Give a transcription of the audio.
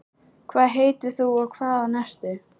hvað heitir þú og hvaðan ertu?